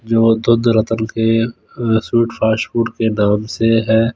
जो दूध रतन के स्वीट फास्टफूड के नाम से है।